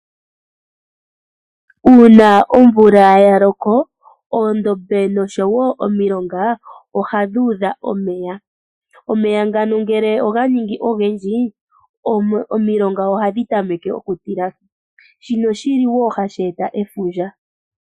Uuna omvula yaloko oondombe nosho woo omilonga ohadhuudha omeya. Omeya ngano ngele oga ningi ogendji omilonga ohadhi tameke okutilashi shino shilo wo hashi eta efundja.